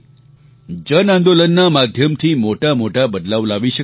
જનઆંદોલનના માધ્યમથી મોટા મોટા બદલાવ લાવી શકાય છે